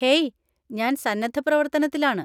Hey, ഞാൻ സന്നദ്ധപ്രവർത്തനത്തിലാണ്.